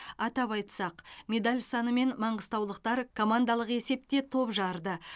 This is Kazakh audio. атап айтсақ медаль санымен маңғыстаулықтар командалық есепте топ жарды